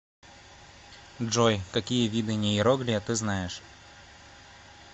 джой какие виды нейроглия ты знаешь